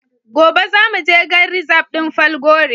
Gobe za mu je gan rizab din Falgore.